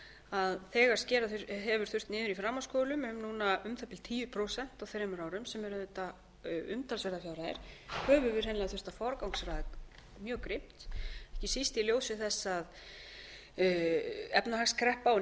að þegar skera hefur þurft niður í framhaldsskólum um núna um það bil tíu prósent á þremur árum sem eru auðvitað umtalsverðar fjárhæðir höfum við hreinlega þurft að forgangsraða drög grimmt ekki síst í ljósi þess að efnahagskreppa og